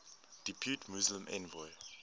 depute muslim envoy